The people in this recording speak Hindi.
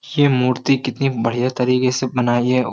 ये मूर्ति कितनी बढ़िया तरीके से बनाई है।